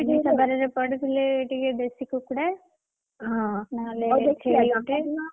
ଆମିଷ ବାରରେ ପଡ଼ିଥିଲେ ଟିକେ ଦେଶୀ କୁକୁଡ଼ା, ନହେଲେ ଛେଳି ଗୋଟେ,